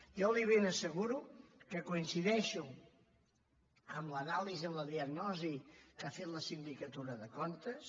jo li ben asseguro que coincideixo amb l’anàlisi amb la diagnosi que ha fet la sindicatura de comptes